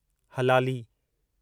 हलाली